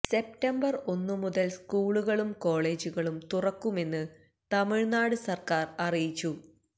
September ഒന്ന് മുതല് സ്കൂളുകളും കോളേജുകളും തുറക്കുമെന്ന് തമിഴ്നാട് സര്ക്കാര് അറിയിച്ചു